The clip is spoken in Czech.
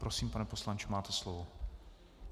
Prosím, pane poslanče, máte slovo.